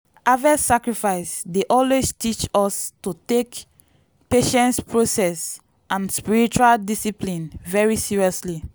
harvest sacrifice dey always teach us to take patience process and spiritual discipline very seriously.